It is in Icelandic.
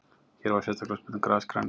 Hér var sérstaklega spurt um grasgrænu.